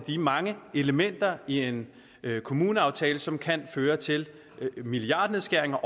de mange elementer i en kommuneaftale som kan føre til milliardnedskæringer